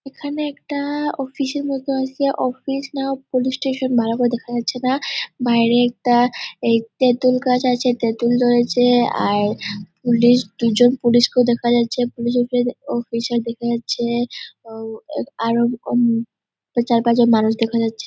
এখানে একটা-আ অফিস এর মতো আছে অফিস না পুলিশ স্টেশন ভালো করে দেখা যাচ্ছে না। বাইরে একটা এ তেঁতুল গাছ আছে তেঁতুল ধরেছে আর পুলিশ দুজন পুলিশ কেও দেখা যাচ্ছে পুলিশ এর অফিসার দেখা যাচ্ছে উম আর চারপাঁচজন মানুষ দেখা যাচ্ছে।